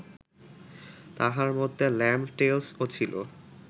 তাহার মধ্যে Lamb’d Tales ও ছিল